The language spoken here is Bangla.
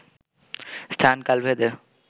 স্থান কাল ভেদে